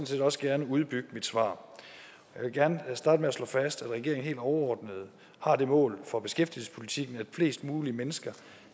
set også gerne udbygge mit svar jeg vil gerne starte med at slå fast at regeringen helt overordnet har det mål for beskæftigelsespolitikken at flest mulige mennesker